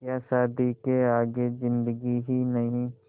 क्या शादी के आगे ज़िन्दगी ही नहीं